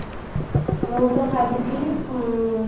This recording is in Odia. ମୁଁ ତ ଭାବିଥିଲି ଉଁ